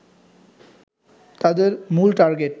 তাদের মূল টার্গেট